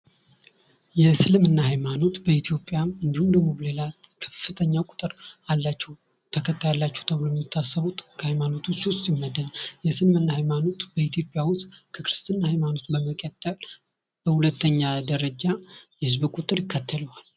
የእስልምና ሃይማኖት በኢትዮጵያ እንዲሁም ሌላ ከፍተኛ ቁጥር አላቸው ተብሎ የሚታሰብ የምደባል የእስልምና ሃይማኖት በኢትዮጵያ ውስጥ ከክርስትና በመቀጠል በሁለተኛ ደረጃ የህዝብ ቁጥር ይከተለዋል።